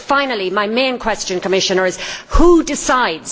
Finally my main question, Commissioner, is who decides?